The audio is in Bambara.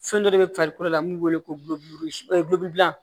Fɛn dɔ de bɛ farikolo la mun b'o wele ko o ye dilan